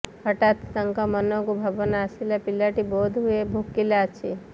ହଠାତ ତାଙ୍କ ମନକୁ ଭାବନା ଆସିଲା ପିଲାଟି ବୋଧହୁଏ ଭୋକିଲା ଅଛି